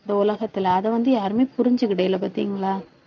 இந்த உலகத்திலே அதை வந்து, யாருமே புரிஞ்சுக்கிடலை பாத்தீங்களா